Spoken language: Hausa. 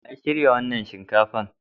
Wa ya shirya wannan shinkafa?